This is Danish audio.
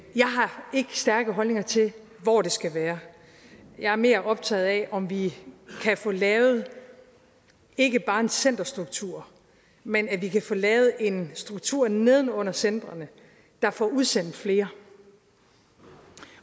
stærke holdninger til hvor det skal være jeg er mere optaget af om vi kan få lavet ikke bare en centerstruktur men at vi kan få lavet en struktur neden under centrene der får udsendt flere